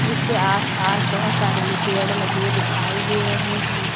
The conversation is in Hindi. इसके आसपास बहुत सारे पेड़ लगे दिखाई दे रहे हैं।